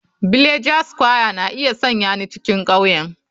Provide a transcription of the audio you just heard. Villager square na iya sanya ni cikin ƙauyen.